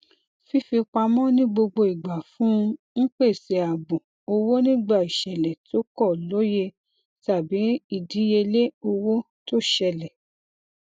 fífipamọ ní gbogbo igba fún un n pese ààbò owó nígbà ìṣẹlẹ tó kọ lóye tàbí ìdíyelé owó tó ṣẹlẹ